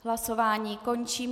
Hlasování končím.